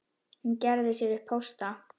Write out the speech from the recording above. Hún gerði sér upp hósta.